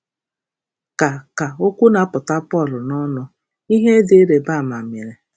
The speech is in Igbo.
Ka Ka okwu na-apụta Pọl n’ọnụ, ihe dị ịrịba ama mere.